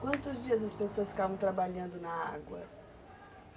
Quantos dias as pessoas ficavam trabalhando na água?